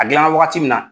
A gilanna wagati min na